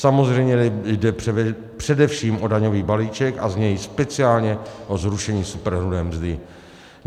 Samozřejmě jde především o daňový balíček a z něj speciálně o zrušení superhrubé mzdy.